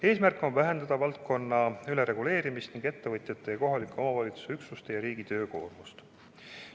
Eesmärk on vähendada valdkonna ülereguleerimist ning ettevõtjate ja kohaliku omavalitsuse üksuste ja riigi töökoormust.